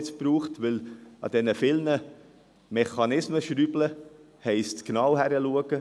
Wenn man an den vielen Mechanismen schraubt, heisst dies, genau hinschauen.